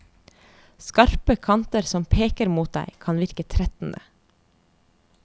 Skarpe kanter som peker mot deg kan virke trettende.